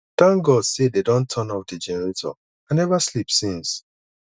thank god say dey don turn off the generator i never sleep since